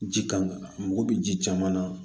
Ji kan ka mago bɛ ji caman na